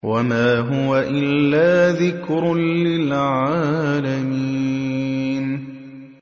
وَمَا هُوَ إِلَّا ذِكْرٌ لِّلْعَالَمِينَ